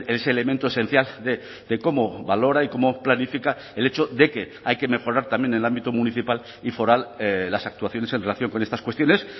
ese elemento esencial de cómo valora y cómo planifica el hecho de que hay que mejorar también en el ámbito municipal y foral las actuaciones en relación con estas cuestiones